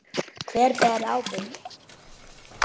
Hver ber ábyrgð?